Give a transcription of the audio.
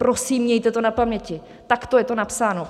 Prosím, mějte to na paměti, takto je to napsáno.